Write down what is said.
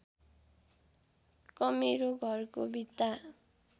कमेरो घरको भित्ता